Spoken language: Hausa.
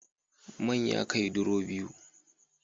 Man ya kai duro biyu